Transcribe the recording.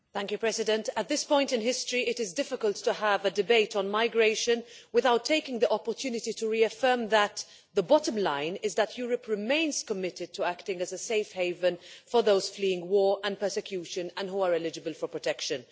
Mr President, at this point in history it is difficult to have a debate on migration without taking the opportunity to reaffirm that the bottom line is that Europe remains committed to acting as a safe haven for those fleeing war and persecution and who are eligible for protection.